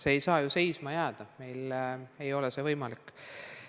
See ei saa seisma jääda, meil ei ole see võimalik.